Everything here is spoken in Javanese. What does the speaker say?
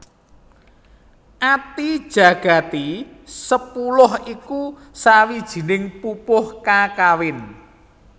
Atijagati sepuluh iku sawijining pupuh kakawin